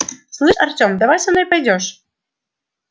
слыштшь артём давай со мной пойдёшь